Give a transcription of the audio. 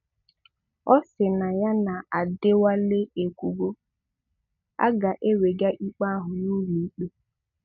Ọ sị na ya na Adewale ekwùgòo, a ga-ewèga ikpe ahụ n’ụlọikpé